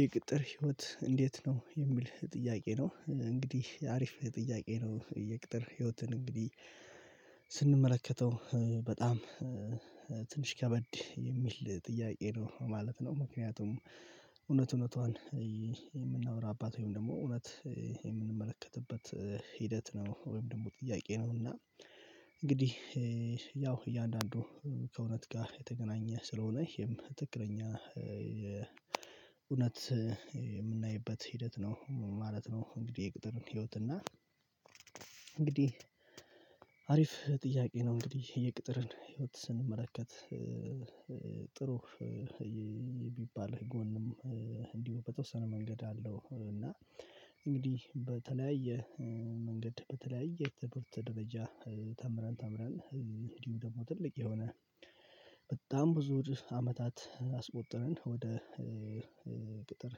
የቅጥር ህይወት እንዴት ነው የሚል ጥያቄ ነው? እንግዲህ አሪፍ ጥያቄ ነው የቅጥር ህይወትን እንግዲህ ስንመለከተው በጣም ትንሽ ከበድ የሚል ጥያቄ ነው ማለት ነው። ምክንያቱም እውነት እውነቷን የምናወራባት ወይም ደግሞ እውነት የምንመለከትበት ሂደት ነው ወይም ደግሞ ጥያቄ ነው እና እንግዲህ ያው እያንዳንዱ ከእውነት ጋር የተገናኘ ስለሆነ ይሄም ትክክለኛ እውነት የምናይበት ሂደት ነው ማለት ነው። እንግዲህ የቅጥርን ህይወት እና እንግዲህ አሪፍ ጥያቄ ነው እንግዲህ የቅጥርን ህይወት ስንመለከት ጥሩ የሚባል ጎንም እንዲሁ በተወሰነ መንገድ አለው እና እንግዲህ በተለያየ መንገድ በተለያየ ትምህርት ደረጃ ተምረን ተምረን እንዲሁም ደግሞ ትልቅ የሆነ በጣም ብዙ አመታት አስቆጥረን ወደ ቅጥር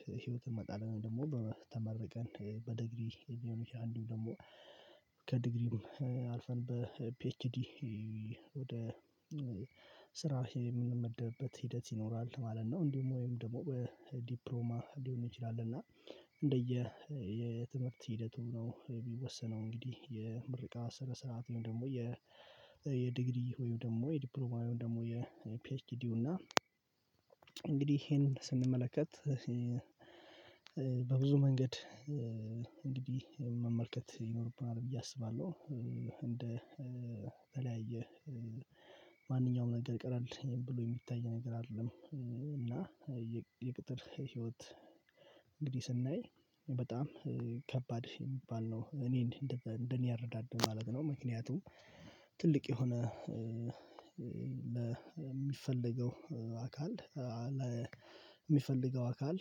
ህይወት እንመጣለን ወይም ደግሞ ተመርቀን በዲግሪ ሊሆን ይችላል እንዲሁም ደግሞ አልፈን በፒኤችዲ ወደ ስራ የምንመደብበት ሂደት ይኖራል ማለት ነው። እንዲሁም ወይም ደግሞ ዲፕሎማ ሊሆን ይችላል እና እንደየ የትምህርት ሂደቱ ነው የሚወሰነው እንግዲህ የምርቃ ስነ ስርዓት ወይም ደግሞ የ የዲግሪ ወይም ደግሞ የዲፕሎማ ወይም ደግሞ የፒኤችዲው እና እንግዲህ ይሄንን ስንመለከት በብዙ መንገድ እንግዲህ መመልከት ይኖርብናል ብዬ አስባለሁ። እንደ ተለያየ ማንኛውም ነገር ቀለል ብሎ የሚታይ ነገር አይደለም። እና የቅጥር ህይወት እንግዲህ ስናይ በጣም ከባድ የሚባል ነው እኔ እንደኔ አረዳድ ማለት ነው። ምክንያቱም ትልቅ የሆነ ለሚፈልገው አካል ለሚፈልገው አካል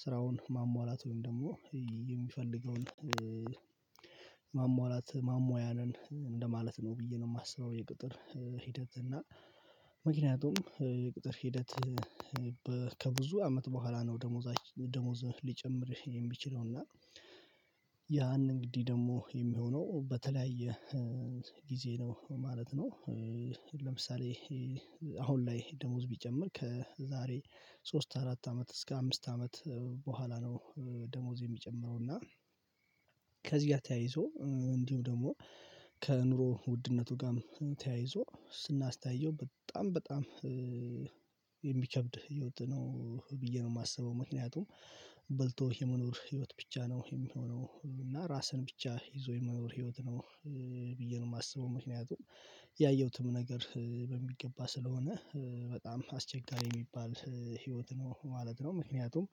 ስራውን ማሟላት ወይም ደግሞ የሚፈልገውን ማሟላት ማሟያ ነን እንደማለት ነው ብዬ ነው። የማስበው የቅጥር ሂደት እና ምክንያቱም የቅጥር ሂደት ከብዙ አመት በኋላ ነው ደሞዛች ደሞዝ ሊጨምር የሚችለው እና ያን እንግዲህ ደግሞ የሚሆነው በተለያየ ጊዜ ነው ማለት ነው። ለምሳሌ አሁን ላይ ደሞዝ ቢጨምር ከዛሬ ሶስት አራት አመት እስከ አምስት አመት በኋላ ነው ደሞዝ የሚጨምረው እና ከዚህ ጋር ተያይዞ እንዲሁም ደግሞ ከኑሮ ውድነቱ ጋርም ተያይዞ ስናስተያየው በጣም በጣም የሚከብድ ህይወት ነው ብዬ ነው የማስበው። ምክንያቱም በልቶ የመኖር ህይወት ብቻ ነው የሚሆነው እና ራስን ብቻ ይዞ የመኖር ህይወት ነው ብዬ ነው የማስበው ምክንያቱም ያየሁትም ነገር በሚገባ ስለሆነ በጣም አስቸጋሪ የሚባል ህይወት ነው ማለት ነው። ምክንያቱም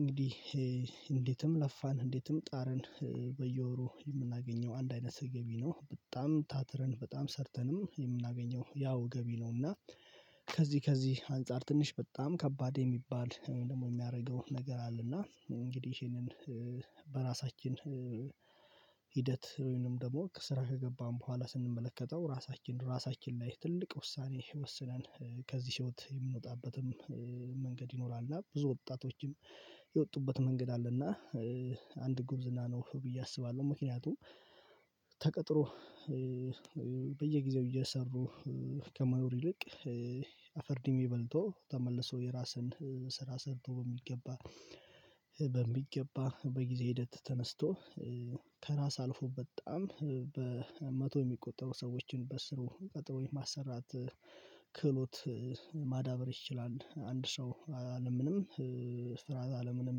እንግዲህ እንዴትም ለፋን እንዴትም ጣርን በየወሩ የምናገኘው አንድ አይነት ገቢ ነው በጣም ታትረን በጣም ሰርተንም የምናገኘው ያው ገቢ ነው እና ከዚህ ከዚህ አንፃር ትንሽ በጣም ከባድ የሚባል ደግሞ የሚያደርገው ነገር አለ። እና እንግዲህ ይሄንን በራሳችን ሂደት ወይንም ደግሞ ከስራ ከገባን በኋላ ስንመለከተው ራሳችን ራሳችን ላይ ትልቅ ውሳኔ ወስነን ከዚህ ህይወት የምንወጣበትም መንገድ ይኖራል። እና ብዙ ወጣቶችም የወጡበት መንገድ አለ እና አንድ ጉብዝና ነው ብዬ አስባለሁ። ምክንያቱም ተቀጥሮ በየጊዜው እየሰሩ ከመኖር ይልቅ ድሜ በልቶ ተመልሶ የራስን ስራ ሰርቶ በሚገባ በሚገባ በጊዜ ሂደት ተነስቶ ከራስ አልፎ በጣም በመቶ የሚቆጠሩ ሰዎችን በስሩ ቀጥሮ የማሰራት ክህሎት ማዳበር ይችላል። አንድ ሰው አለምንም ስራ አለምንም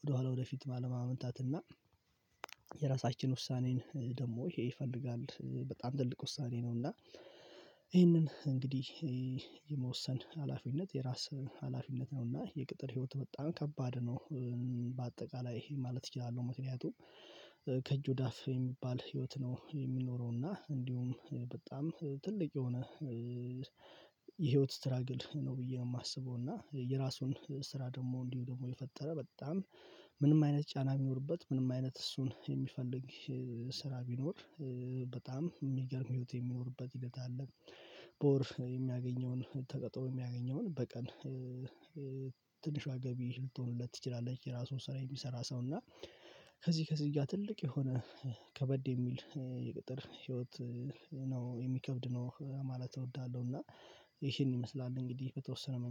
ወደኋላ ወደፊት ባለማመንታት እና የራሳችን ውሳኔን ደግሞ ይሄ ይፈልጋል በጣም ትልቅ ውሳኔ ነው። እና ይሄንን እንግዲህ የመወሰን ሀላፊነት የራስ ሀላፊነት ነው። እና የቅጥር ህይወት በጣም ከባድ ነው በአጠቃላይ ማለት እችላለሁ። ምክንያቱም ከእጅ ወደ አፍ የሚባል ህይወት ነው የሚኖረው እና እንዲሁም በጣም ትልቅ የሆነ የህይወት ስትራግል ነው ብዬ ነው የማስበው። እና የራሱን ስራ ደግሞ እንዲሁ ደግሞ የፈጠረ በጣም ምንም አይነት ጫና ቢኖርበት ምንም አይነት እሱን የሚፈልግ ስራ ቢኖር በጣም የሚገርም ህይወት የሚኖርበት ሂደት አለ። በወር የሚያገኘውን ተቀጥሮ የሚያገኘውን በቀን ትንሿ ገቢ ልትሆንለት ትችላለች። የራሱን ስራ የሚሰራ ሰው እና ከዚህ ከዚያ ጋር ትልቅ የሆነ ከበድ የሚል የቅጥር ህይወት ነው የሚከብድ ነው ማለት እወዳለሁ። እና ይሄን ይመስላል እንግዲህ በተወሰነ መንገድ